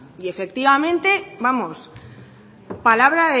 y efectivamente vamos palabra